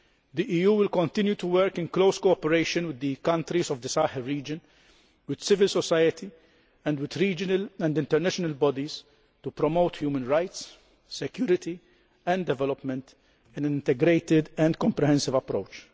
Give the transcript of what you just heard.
The EU will continue to work in close cooperation with the countries of the Sahel region, with civil society, and with regional and international bodies to promote human rights, security and development in an integrated and comprehensive approach.